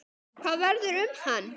Hvað verður um hann?